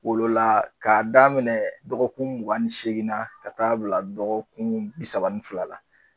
Wolola k'a daminɛ dɔgɔkun mugan ni seegin na ka t'a bila dɔgɔkun bi saba ni fila la